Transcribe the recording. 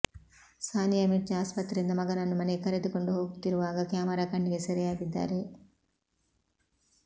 ಸಾನಿಯಾ ಮಿರ್ಜಾ ಆಸ್ಪತ್ರೆಯಿಂದ ಮಗನನ್ನು ಮನೆಗೆ ಕರೆದುಕೊಂಡು ಹೋಗ್ತಿರುವಾಗ ಕ್ಯಾಮರಾ ಕಣ್ಣಿಗೆ ಸೆರೆಯಾಗಿದ್ದಾರೆ